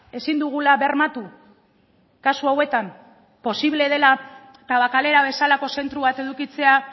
ezin dugula bermatu kasu hauetan posible dela tabakalera bezalako zentro bat edukitzea